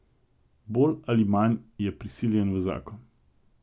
Bolj ali manj je prisiljen v zakon.